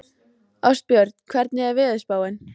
Ástbjörn, hvernig er veðurspáin?